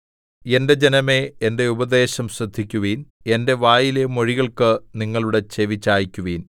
എന്റെ ജനമേ എന്റെ ഉപദേശം ശ്രദ്ധിക്കുവിൻ എന്റെ വായിലെ മൊഴികൾക്ക് നിങ്ങളുടെ ചെവി ചായിക്കുവിൻ